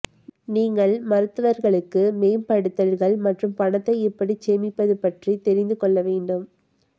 நீங்கள் மருத்துவர்களுக்கு மேம்படுத்தல்கள் மற்றும் பணத்தை எப்படி சேமிப்பது பற்றி தெரிந்து கொள்ள வேண்டும்